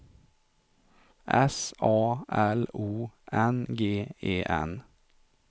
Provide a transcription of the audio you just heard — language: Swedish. S A L O N G E N